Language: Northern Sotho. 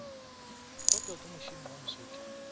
kotwa ke mošomi wa mosotho